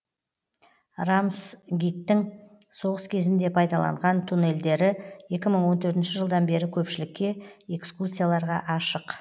рамсгиттің соғыс кезінде пайдаланған туннельдері екі мың он төртінші жылдан бері көпшілікке экскурсияларға ашық